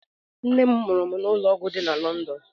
Nne m mụrụ m na ụlọọgwụ dị na London.